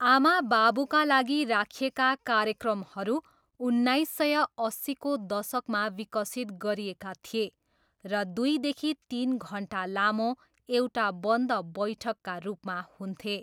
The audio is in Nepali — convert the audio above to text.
आमाबाबुका लागि राखिएका कार्यक्रमहरू उन्नाइस सय अस्सीको दशकमा विकसित गरिएका थिए र दुईदेखि तिन घन्टा लामो एउटा बन्द बैठकका रूपमा हुन्थे।